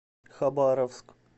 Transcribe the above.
хабаровск